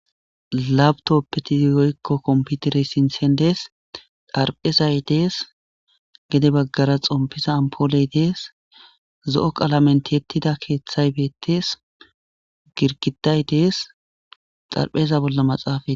lapitoppeti woykko komputerey sinthen dees dharphezay dees gede baggara xompiza ampooley dees zo7o qalamen tiyettida keeththay beettees girgiday dees xarpheza bolla maxaafa